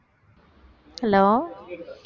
hello